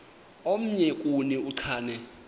omnye kuni uchane